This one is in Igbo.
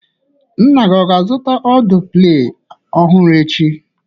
Nna gị ọ ga-azụta ọdụ Play ọhụrụ echi?